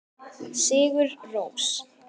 Sigur Rós.